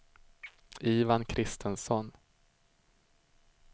Ivan Kristensson